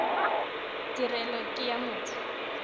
tirelo e ke ya motho